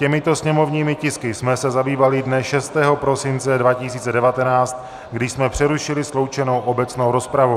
Těmito sněmovními tisky jsme se zabývali dne 6. prosince 2019, když jsme přerušili sloučenou obecnou rozpravu.